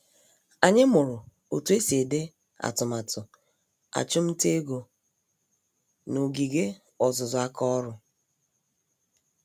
Anyị mụrụ otú esi ede atụmatụ achumtaego, n'ogige ọzụzụ àkà ọrụ